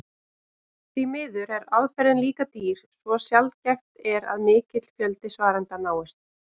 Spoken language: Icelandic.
Því miður er aðferðin líka dýr svo sjaldgæft er að mikill fjöldi svarenda náist.